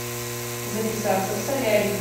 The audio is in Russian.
записаться в солярий